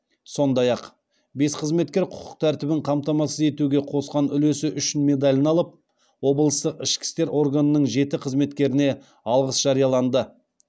сондай ақ бес қызметкер құқық тәртібін қамтамасыз етуге қосқан үлесі үшін медалін алып облыстық ішкі істер органының жеті қызметкеріне алғыс жарияланды